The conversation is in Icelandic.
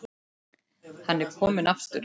Hann er kominn aftur!